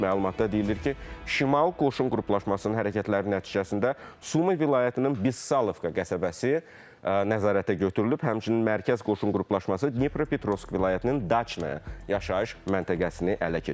Məlumatda deyilir ki, şimal qoşun qruplaşmasının hərəkətləri nəticəsində Sumı vilayətinin Bıssalovka qəsəbəsi nəzarətə götürülüb, həmçinin mərkəz qoşun qruplaşması Dnepropetrovsk vilayətinin Daçnaya yaşayış məntəqəsini ələ keçirib.